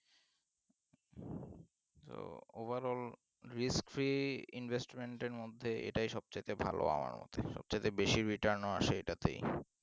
Overall risk free investment এর মধ্যে এটা সবচাইতে ভালো আমার মধ্যে সবচেয়ে বেশি return ও আসেএটাতেই